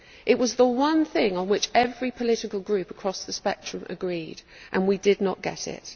It was the one thing on which every political group across the spectrum agreed, but we did not get it.